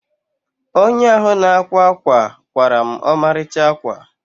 Onye ahụ na-akwa ákwà kwaara m ọmarịcha ákwà.